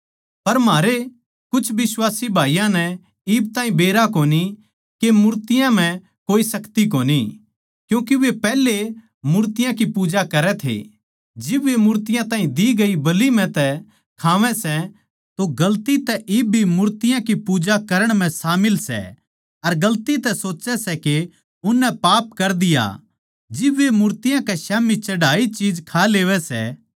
पर म्हारे कुछ बिश्वासी भाईयाँ नै इब ताहीं बेरा कोनी के मूर्तियाँ म्ह कोई शक्ति कोनी क्यूँके वे पैहले वे मूर्तियाँ की पूजा करै थे जिब वे मूर्तियाँ ताहीं दी गई बलि म्ह तै खावै सै तो गलती तै इब भी मूर्तियाँ की पूजा करण म्ह शामिल सै अर गलती तै सोच्चै सै के उननै पाप कर दिया जिब वे मूर्ति के स्याम्ही चढ़ाई चीज खा लेवै सै